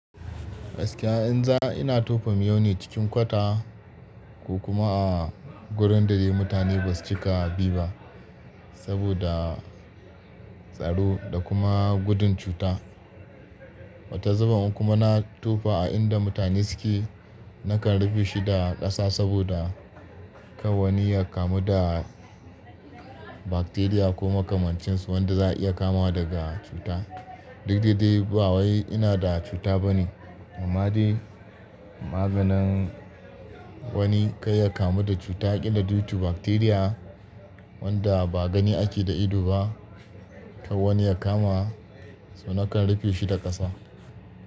Gaskiya in za ina tofa miyau ne cikin kwata ko kuma a wurin da dai mutane ba su cika bi ba saboda tsaro da kuma gudun cuta. Wata zaban kuma na tofa a inda mutane suke, nakan rufe shi da ƙasa saboda kawanni ya kamu da bakteriya ko makamancinsu wanda za a iya kamuwa daga cuta. Duk daidai ba wai ina da cuta ba ne, amma dai maganin wani kai ya kamu da cuta ƙila dutu bakteriya wanda ba gani ake da ido ba, kawanni ya kama, so nakan rufe shi da ƙasa.